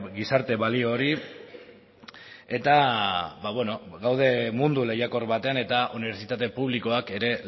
gizarte balio hori eta gaude mundu lehiakor batean eta unibertsitate publikoak ere